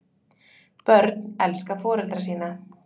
Börn elska foreldra sína.